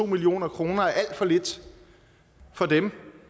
million kroner er alt for lidt